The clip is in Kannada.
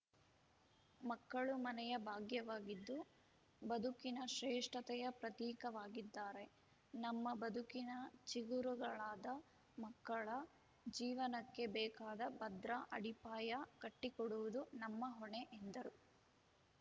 ಮಕ್ಕಳು ಮನೆಯ ಭಾಗ್ಯವಾಗಿದ್ದು ಬದುಕಿನ ಶ್ರೇಷ್ಠತೆಯ ಪ್ರತೀಕವಾಗಿದ್ದಾರೆ ನಮ್ಮ ಬದುಕಿನ ಚಿಗುರುಗಳಾದ ಮಕ್ಕಳ ಜೀವನಕ್ಕೆ ಬೇಕಾದ ಭದ್ರ ಅಡಿಪಾಯ ಕಟ್ಟಿಕೊಡುವುದು ನಮ್ಮ ಹೊಣೆ ಎಂದರು